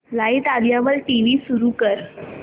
light आल्यावर TV सुरू कर